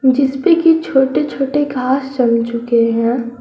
जिस पे कि छोटे छोटे घास जम चुके हैं।